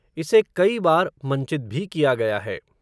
इसे कई बार, मंचित भी किया गया है